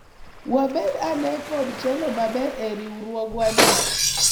wabed ane kod telo maber e riwruogwa ni